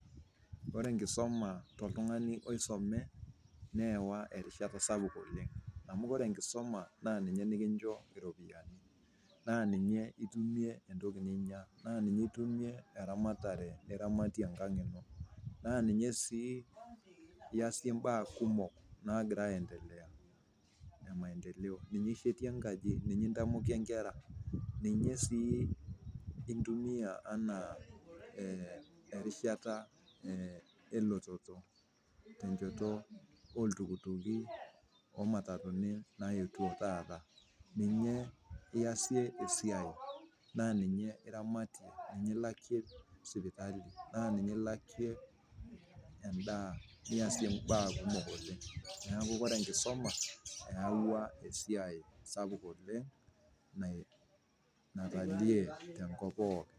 Kore nkisuma te ltungani oisome neewa erishata sapuk oleng amuu kore nkisuma naa ninye nikincho iropiyiani, naa ninye itumie entoki ninya, ninye itumie eramatare niramatie enkang ino, naa ninye sii iasie imbaa kumok naagira aiendelea emaendeleo, ninye ishetie inkaji, ninye intamokie inkera, ninye sii intumiya anaa erishata elototo te inchoto oltukituki o matatuni naetio taata, ninye iasie esiai, naa ninye iramatie ninye ilakie sipitali naa ninye ilakie endaa niasie embaa kumok oleng, neaku kor enkisoma eawua esiai sapuk oleng natalie te nkop pooki.